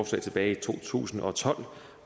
tilbage i to tusind og tolv